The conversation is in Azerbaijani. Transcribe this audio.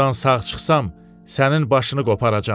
Burdan sağ çıxsam, sənin başını qoparacam.